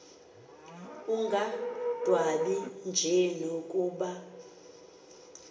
ungadwabi nje nokuba